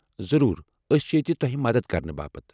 ضروٗر، ٲسہِ چھِ ییتہِ تۄہہِ مدتھ كرنہٕ باپت ۔